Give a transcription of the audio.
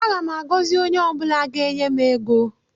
Aga m agọzi onye ọ bụla ga-enye m ego.